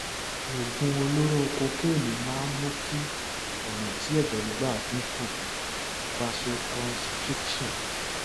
oògùn olóró kokéènì máa ń mú kí ọnà tí ẹjẹ ń gbà dín kù vasoconstriction